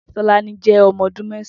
Tolani jẹ ọmọ ọdun mẹsãn